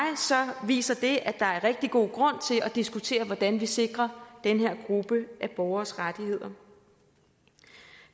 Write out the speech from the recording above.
viser det at der er rigtig god grund til at diskutere hvordan vi sikrer den her gruppe af borgeres rettigheder